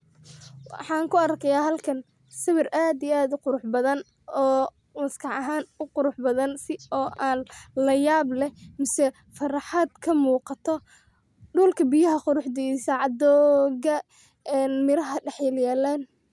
Waxan ku arkiya halkan sawir aad iyo aad u qurux badan oo maskax ahan u qurux badan oo an layab leh mise farxad kamuuqato dhulka biyaha quruxdiisa dooga miraha dhax yal yalan